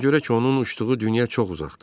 Ona görə ki, onun uçduğu dünya çox uzaqdır.